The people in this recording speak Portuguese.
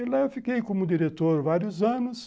E lá eu fiquei como diretor vários anos,